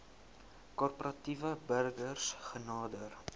korporatiewe burgers genader